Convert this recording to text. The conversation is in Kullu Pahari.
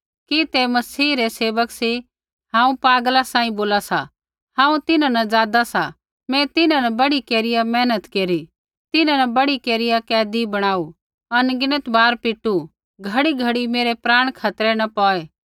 कि सौऐ मसीह रै सेवक सी हांऊँ पागला सांही बोला सा हांऊँ तिन्हां न ज़ादा सा मैं तिन्हां न बढ़ी केरिया मेहनत केरी तिन्हां न बढ़ी केरिया कैदी बणाऊ अनगिनत बार पीटू घड़ीघड़ी मेरै प्राण खतरै न पौड़ै